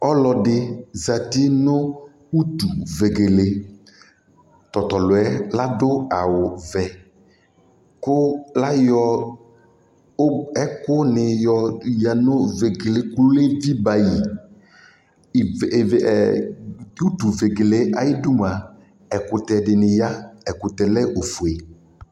Ɔlɔdɩ zati nʋ utuvegele Ɔta tʋ ɔlʋ yɛ adʋ awʋvɛ kʋ ayɔ ug ɛkʋnɩ yǝ nʋ vegele yɛ kʋ edzimǝ yɩ Ive ve ɛ tʋ utuvegele yɛ ayidu mʋa, ɛkʋtɛ dɩnɩ ya Ɛkʋtɛ yɛ lɛ ofue